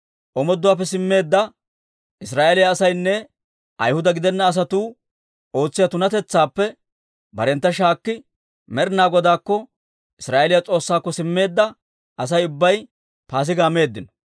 Omooduwaappe simmeedda Israa'eeliyaa asaynne Ayhuda gidenna asatuu ootsiyaa tunatetsaappe barentta shaakki, Med'inaa Godaakko, Israa'eeliyaa S'oossaakko simmeedda Asay ubbay Paasigaa meeddino.